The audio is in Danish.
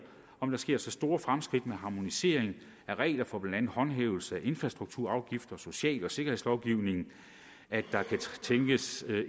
om der sker så store fremskridt med harmonisering af regler for blandt andet håndhævelse af infrastrukturafgifter og social og sikkerhedslovgivning at der kan tænkes